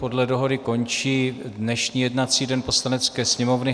Podle dohody končí dnešní jednací den Poslanecké sněmovny.